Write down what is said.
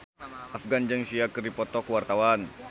Afgan jeung Sia keur dipoto ku wartawan